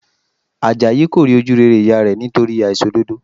Àjàyí kò rí ojú rere ìyá rẹ̀ nítorí àìṣòdodo